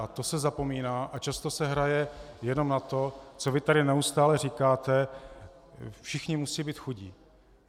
Na to se zapomíná a často se hraje jenom na to, co vy tady neustále říkáte - všichni musí být chudí.